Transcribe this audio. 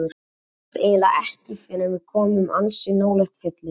Annað sást eiginlega ekki fyrr en við vorum komin ansi nálægt fjallinu.